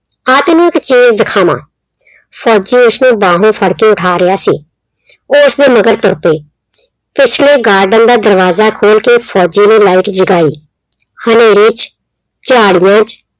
ਆ ਤੈਨੂੰ ਇੱਕ ਖੇਲ ਦਿਖਾਵਾਂ, ਫੌਜੀ ਉਸਨੂੰ ਬਾਹੋਂ ਫੜ ਕੇ ਉਠਾ ਰਿਹਾ ਸੀ। ਉਹ ਉਸਦੇ ਮਗਰ ਤੁਰ ਪਈ, ਪਿਛਲੇ garden ਦਾ ਦਰਵਾਜ਼ਾ ਖੋਲ ਕੇ ਫੌਜੀ ਨੇ light ਜਗਾਈ, ਹਨੇਰੇ ਚ ਝਾੜੀਆਂ ਚ